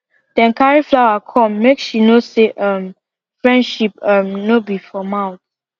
dem carry flower come make she know say um friendship um no be for mouth